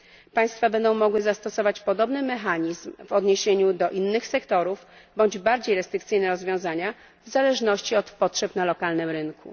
Państwa będą mogły zastosować podobny mechanizm w odniesieniu do innych sektorów bądź bardziej restrykcyjne rozwiązania w zależności od potrzeb na lokalnym rynku.